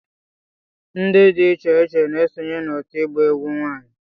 ndị dị iche iche na-esonye n'òtù ịgba egwu nwanyị